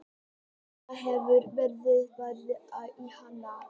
Tímanum hefur verið varið í annað.